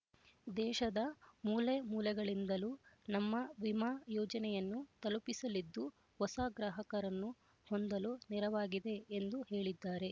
ದೇಶದ ಮೂಲೆ ಮೂಲೆಗಳಿಂದಲೂ ನಮ್ಮ ವಿಮಾ ಯೋಜನೆಗಳನ್ನು ತಲುಪಿಸಲಿದ್ದು ಹೊಸ ಗ್ರಾಹಕರನ್ನು ಹೊಂದಲು ನೆರವಾಗಿದೆ ಎಂದು ಹೇಳಿದ್ದಾರೆ